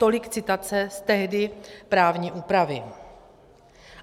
Tolik citace z tehdy právní úpravy.